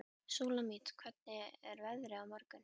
Súlamít, hvernig er veðrið á morgun?